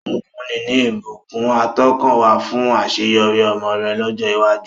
Ó fúnni ní ìbùkún àtọkànwá fún àṣeyọrí ọmọ rẹ̀ lọ́jọ́ iwájú.